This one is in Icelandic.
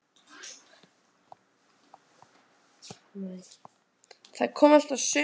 Hann heyrir að þær spjalla um partí og einhverja stráka.